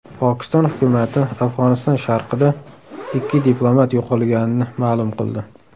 Pokiston hukumati Afg‘oniston sharqida ikki diplomat yo‘qolganini ma’lum qildi.